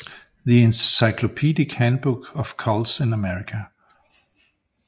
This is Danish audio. The encyclopedic handbook of cults in America